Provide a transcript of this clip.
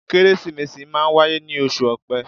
Kérésìmesì máa ń wáyé ní oṣù Ọpẹ.